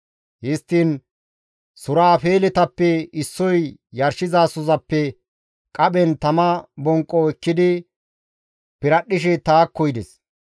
Histtiin suraafeeletappe issoy yarshizasozappe qaphen tama bonqqo ekkidi piradhdhishe taakko yides.